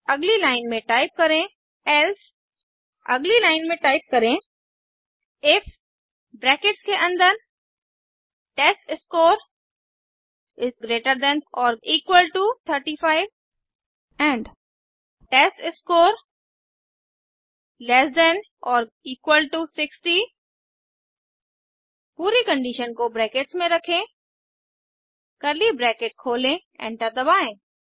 अगली लाइन में टाइप करें एल्से अगली लाइन में टाइप करें इफ ब्रैकेट्स के अन्दर टेस्टस्कोर इज़ ग्रेटर देन और equal to 35 and test score is less than और इक्वल टू 60 पूरी कंडीशन को ब्रैकेट्स में रखें कर्ली ब्रैकेट खोलें एंटर दबाएँ